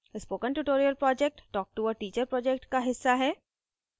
spoken tutorial project talktoa teacher project का हिस्सा है